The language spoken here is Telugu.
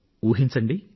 ఊహించండి